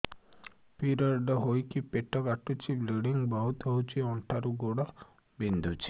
period ହୋଇକି ପେଟ କାଟୁଛି ବ୍ଲିଡ଼ିଙ୍ଗ ବହୁତ ହଉଚି ଅଣ୍ଟା ରୁ ଗୋଡ ବିନ୍ଧୁଛି